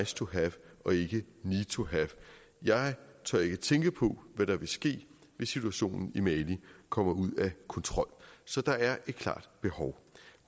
to have og ikke need to have jeg tør ikke tænke på hvad der vil ske hvis situationen i mali kommer ud af kontrol så der er et klart behov